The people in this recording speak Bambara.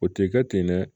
O tɛ kɛ ten dɛ